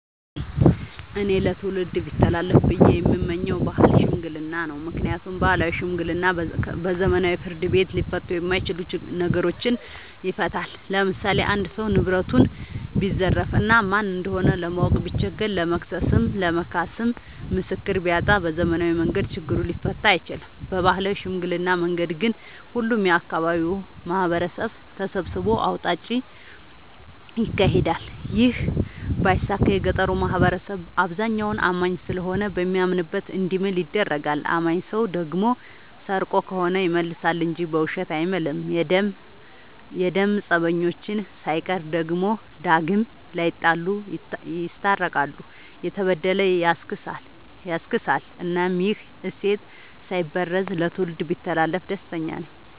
እኔ ለትውልድ ቢተላለፍ ብዬ የምመኘው የባህል ሽምግልና ነው። ምክንያቱም ባህላዊ ሽምግልና በዘመናዊ ፍርድ ቤት ሊፈቱ የማይችሉ ነገሮችን ይፈታል። ለምሳሌ አንድ ሰው ንብረቱን ቢዘረፍ እና ማን እንደሆነ ለማወቅ ቢቸገር ለመክሰስም ለመካስም ምስክር ቢያጣ በዘመናዊ መንገድ ችግሩ ሊፈታ አይችልም። በባህላዊ ሽምግልና መንገድ ግን ሁሉም የአካባቢው ማህበረሰብ ተሰብስቦ አውጣጭ ይካሄዳል ይህ ባይሳካ የገጠሩ ማህበረሰብ አብዛኛው አማኝ ስለሆነ በሚያምንበት እንዲምል ይደረጋል። አማኝ ሰው ደግሞ ሰርቆ ከሆነ ይመልሳ እንጂ በውሸት አይምልም። የደም ፀበኞችን ሳይቀር ዳግም ላይጣሉ ይስታርቃል፤ የተበደለ ያስክሳል እናም ይህ እሴት ሳይበረዝ ለትውልድ ቢተላለፍ ደስተኛ ነኝ።